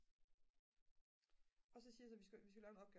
og så siger jeg så at vi skal lave en opgave